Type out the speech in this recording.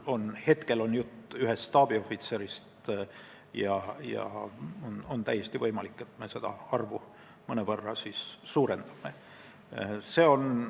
Praegu on jutt ühest staabiohvitserist ja täiesti võimalik, et me mõnevõrra suurendame seda arvu.